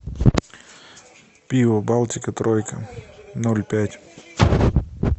пиво балтика тройка ноль пять